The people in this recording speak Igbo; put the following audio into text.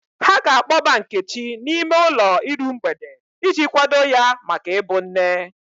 Ha na-akpọba Nkechi n'ime ụlọ iru mgbede iji kwado ya maka ịbụ nne.